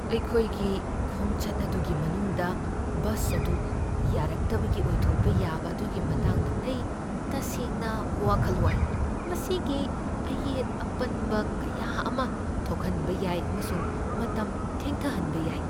ꯑꯩꯈꯣꯏꯒꯤ ꯈꯣꯡꯆꯠ ꯑꯗꯨꯒꯤ ꯃꯅꯨꯡꯗ ꯕꯁ ꯑꯗꯨ ꯌꯥꯔꯛꯇꯕꯒꯤ ꯑꯣꯏꯊꯣꯛꯄ ꯌꯥꯕ ꯑꯗꯨꯒꯤ ꯃꯇꯥꯡꯗ ꯑꯩ ꯇꯁꯦꯡꯅ ꯋꯥꯈꯜ ꯋꯥꯏ, ꯃꯁꯤꯅ ꯑꯌꯦꯠ ꯑꯄꯟꯕ ꯀꯌꯥ ꯑꯃ ꯊꯣꯛꯍꯟꯕ ꯌꯥꯏ ꯑꯃꯁꯨꯡ ꯃꯇꯝ ꯊꯦꯡꯊꯍꯟꯕ ꯌꯥꯏ꯫